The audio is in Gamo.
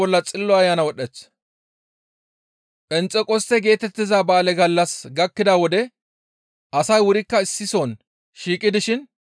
Phenxeqoste geetettiza ba7aale gallassi gakkida wode asay wurikka issi soon shiiqi dishin,